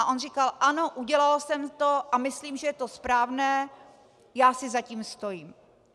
A on říkal: Ano, udělal jsem to a myslím, že je to správné, já si za tím stojím.